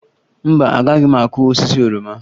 Mba, agaghị m akụ osisi oroma